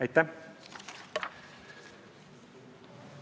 Aitäh!